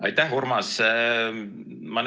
Aitäh, Urmas!